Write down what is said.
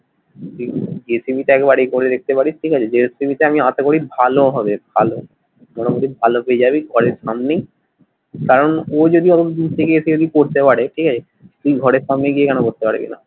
জি TV তে একবার এ করে দেখতে পারিস ঠিক আছে জি টিভি তে আমি আসা করি ভালো হবে ভালো মোটামোটি ভালো পেয়ে যাবি ঘরের সামনেই কারণ ও যদি অতো দূর থেকে এসে যদি করতে পারে ঠিক আছে তুই ঘরের সামনে গিয়ে কেন করতে পারবি না?